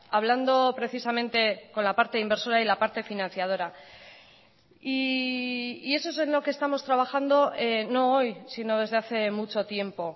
hablando precisamente con la parte inversora y la parte financiadora y eso es en lo que estamos trabajando no hoy sino desde hace mucho tiempo